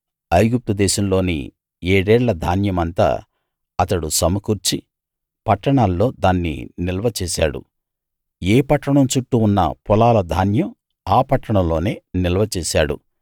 ఐగుప్తు దేశంలోని ఏడేళ్ళ ధాన్యమంతా అతడు సమకూర్చి పట్టణాల్లో దాన్ని నిల్వ చేశాడు ఏ పట్టణం చుట్టూ ఉన్న పొలాల ధాన్యం ఆ పట్టణంలోనే నిల్వచేశాడు